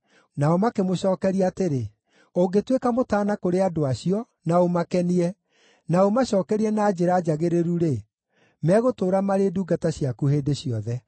Nao makĩmũcookeria atĩrĩ, “Ũngĩtuĩka mũtaana kũrĩ andũ acio, na ũmakenie, na ũmacookerie na njĩra njagĩrĩru-rĩ, megũtũũra maarĩ ndungata ciaku hĩndĩ ciothe.”